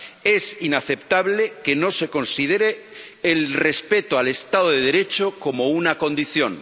Es inaceptable que no se considere el respeto al Estado de Derecho como una condición.